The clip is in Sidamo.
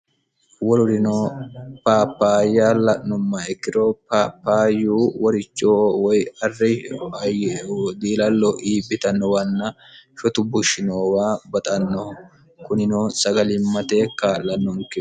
wolurino paapayya la'nommaikkiro papayu woricho woy arre udiilallo iiphitannowanna shotu bushshinoowa baxannoho kunino sagalimmatekka'lannonke